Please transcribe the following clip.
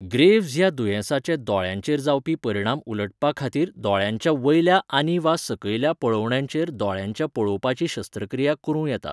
Graves ह्या दुयेंसाचे दोळ्यांचेर जावपी परिणाम उलटपाखातीर दोळ्यांच्या वयल्या आनीवा सकयल्या पळोवण्यांचेर दोळ्यांच्या पळोवपाची शस्त्रक्रिया करूं येता.